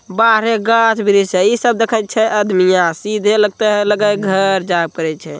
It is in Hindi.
बारे गा जिम ही दिखेत हे या सीधे लागए घर दीखते हे।